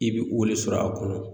I bɛ o de sɔrɔ a kɔnɔ